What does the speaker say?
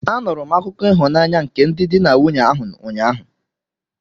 Anụrụ m akụkọ ịhụnanya nke ndị di na nwunye ahụ, ụnyaahụ